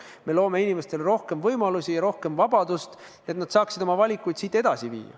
Me loome inimestele rohkem võimalusi ja rohkem vabadust, et nad saaksid oma valikuid edasi viia.